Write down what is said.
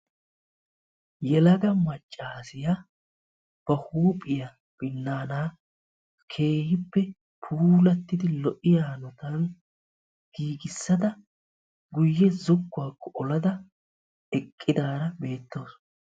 yelaga maccaasiya ba huuphiya binnaana keehippe puulattidi lo'iyaa hanotan giigissada guyye zokkuwaakko olada eqqidaara beettawusu.